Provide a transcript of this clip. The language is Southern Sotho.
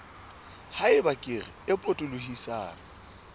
ha eba kere e potolohisang